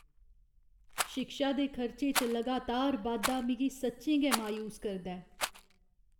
शिक्षा दे खर्चे च लगातार बाद्धा मिगी सच्चें गै मायूस करदा ऐ।